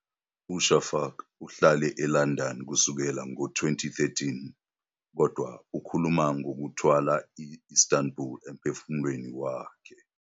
UShafak uhlale eLondon kusukela ngo-2013, kodwa ukhuluma "ngokuthwala i-Istanbul emphefumulweni wakhe."